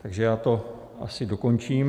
Takže já to asi dokončím.